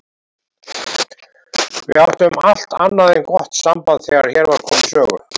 Við áttum allt annað en gott samband þegar hér var komið sögu.